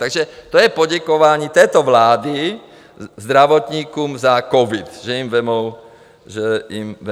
Takže to je poděkování této vlády zdravotníkům za covid, že jim vezmou peníze.